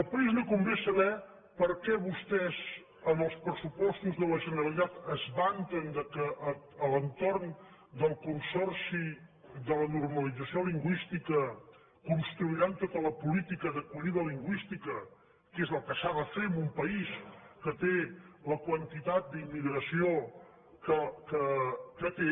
al país li convé saber per què vostès en els pressupostos de la generalitat es vanten que a l’entorn del consorci de la normalització lingüística construiran tota la política d’acollida lingüística que és el que s’ha de fer en un país que té la quantitat d’immigració que té